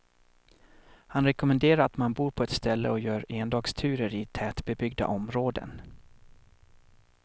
Han rekommenderar att man bor på ett ställe och gör endagsturer i tätbebyggda områden.